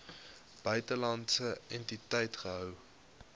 buitelandse entiteit gehou